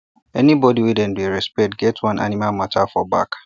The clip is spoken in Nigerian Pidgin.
anybody wey dem dey respect here get one animal matter for back